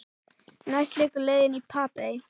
Næst liggur leiðin í Papey.